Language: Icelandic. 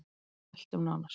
Við sveltum nánast